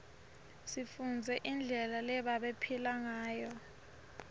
sifundze indlela lebabephila nguyo